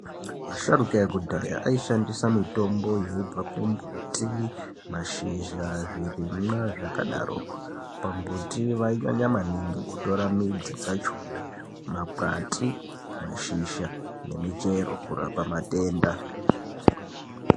Asharuka yekudhaya aishandisa mitombo yaibva kumbuti, mashizha, zvirimwa zvakadaroko, pambuti vainyanyo maningi kutora midzi dzachona, makwati, mashizha nemichero kurapa matenda.